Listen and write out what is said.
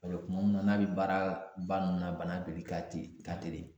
kuma min na n'a be baaraba nunnu na bana beli ka teli ka teli